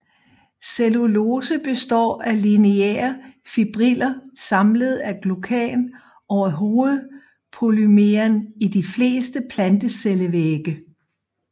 Cellulose består af lineære fibriller samlet af glucan og er hovedpolymeren i de fleste plantecellevægge